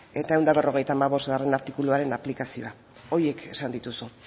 eta ehun eta berrogeita hamabostgarrena artikuluaren aplikazioa horiek esan dituzu